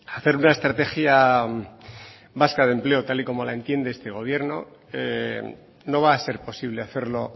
hacer una estrategia vasca de empleo tal y como la entiende este gobierno no va a ser posible hacerlo